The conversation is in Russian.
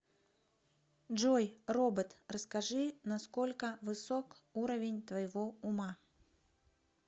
джой робот расскажи на сколько высок уровень твоего ума